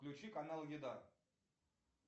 включи канал еда